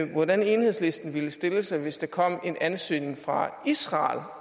hvordan enhedslisten ville stille sig hvis der kom en ansøgning fra israel